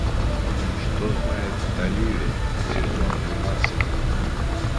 что знает оливия сезон двенадцать